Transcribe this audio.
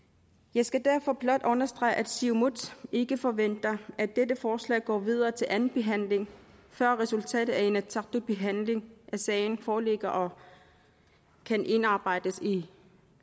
jeg skal derfor blot understrege at siumut ikke forventer at dette forslag går videre til anden behandling før resultatet af inatsisartuts behandling af sagen foreligger og kan indarbejdes i